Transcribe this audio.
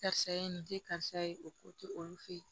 Karisa ye nin di karisa ye o ko tɛ olu fe ye